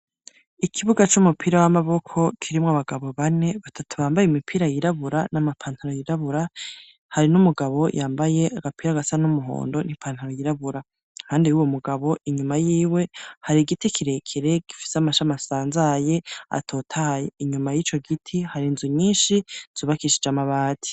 Ikibuga c'umupira w'amaboko, kirimwo abagabo bane, batatu bambaye imipira yirabura n'amapantaro yirabura, hari n'umugabo yambaye agapira gasa n'umuhondo n'ipantaro yirabura. Impande y'uwo mugabo, inyuma y'iwe, hari giti kirekere, gifise amashami asanzaye, atotaye. Inyuma y'ico giti, hari inzu nyinshi, zubakishije amabati.